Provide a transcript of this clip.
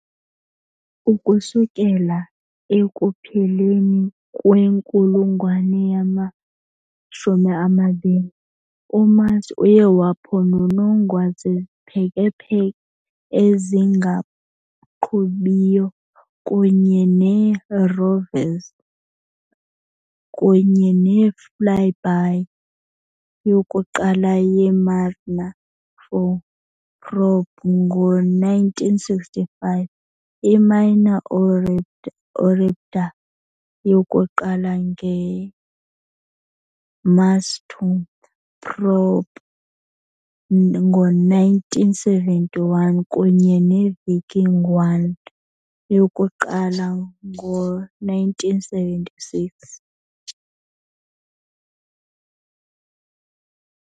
Ukusukela ekupheleni kwenkulungwane yama-20, uMars uye waphononongwa ziziphekepheke ezingaqhubiyo kunye neerovers, kunye ne-flyby yokuqala ye- "Mariner 4" probe ngo-1965, i-Mars orbiter yokuqala nge- "Mars 2" probe ngo-1971, kunye ne- "Viking 1" yokuqala ngo-1976.